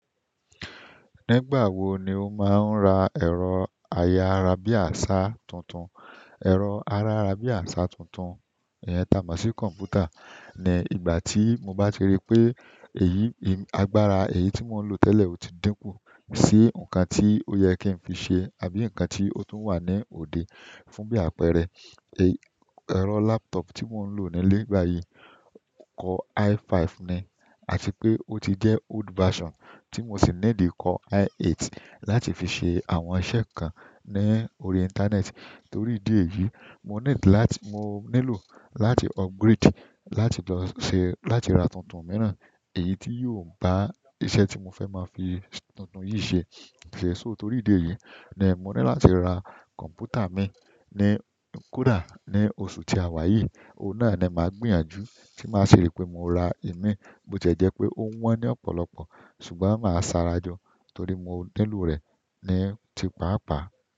Nígbà wo ni o máa ń ra ẹ̀rọ ayára bí àṣá tuntun? Ẹ̀rọ ayára bí àṣá tuntun, ìyẹn táa máa ṣì kọ̀mpútà. Ni ìgbà tí mo bá ṣe ri pé èyí, agbára èyí tí mò ń lò tẹ́lẹ̀ ò tí dínkù sí nǹkan tí ó yẹ kí n fi ṣe àbí nǹkan tí ó tún wà ní òde fún bí àpẹẹrẹ. Ẹ̀rọ laptop tí mò ń lò nílé gbà yìí kọ i5 ni àti pé ó ti jẹ́ old version tí mò sì ní dì kọ i8 láti fi ṣe àwọn iṣẹ́ kan ní orí ìntanẹ́ẹ̀tì. Torí ìdí èyí, mo nílò láti upgrade láti lọ ṣe láti ra tuntun mìíràn èyí tí yóò bá iṣẹ́ tí mo fẹ́ máa fi tuntun yìí ṣe ṣe. So torí ìdí èyí ni mo ní láti ra kọ̀mpútà mi ní kọ́dà ní oṣù tí a wà yìí. Oò náà ni màá gbìyànjú tí màá ṣe rí pé mo ra i mí. Bóò tiẹ́ jẹ́ pé ó wọ́n ní ọ̀pọ̀lọpọ̀ ṣùgbọ́n màá sáré ajò torí mo nílò rẹ̀ ni ti pàápàá.